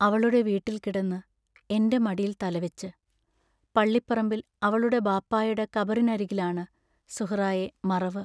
അവളുടെ വീട്ടിൽക്കിടന്ന് എന്റെ മടിയിൽ തലവെച്ച്, പള്ളിപ്പറമ്പിൽ അവളുടെ ബാപ്പായുടെ കബറിനരുകിലാണ് സുഹ്റായെ മറവു